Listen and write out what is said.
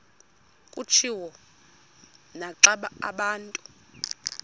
kutshiwo naxa abantu